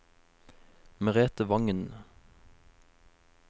Merethe Vangen